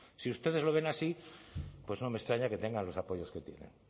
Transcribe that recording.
si ustedes lo ven así pues no me extraña que tengan los apoyos que tienen